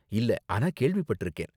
இல்ல, ஆனா கேள்விப்பட்டிருக்கேன்.